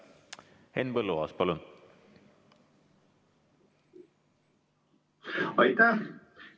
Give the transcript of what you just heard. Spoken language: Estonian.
Henn Põlluaas, palun!